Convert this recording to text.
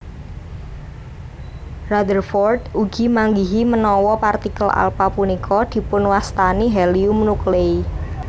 Rutherford ugi manggihi menawi partikel alpha punika dipunwastani helium nuclei